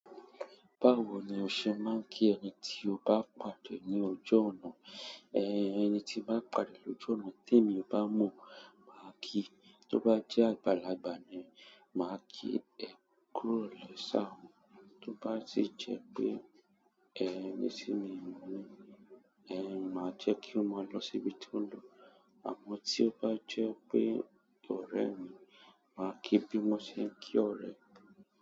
Báwo ni o ṣe máa ń kí ẹni tí o bá pàdé ní ojú ọ̀nà? Ẹn, ẹni tí bá pàdé lójú ọ̀nà tí èmi bá mọ̀ máa ki. Tí ó bá jẹ́ àgbàlagbà ni, máa ki, "ẹ kú ìrọ̀lẹ́ sir". Tó bá ti e jẹ́ pé ẹn, ní sí mi, ẹn, máa jẹ́ kí ó máa lọ síbi tí ó ń lọ. Àmọ́ tí ó bá jẹ́ pé ọ̀rẹ́ mi, máa ki bí mo ṣe ń kí ọ̀rẹ́.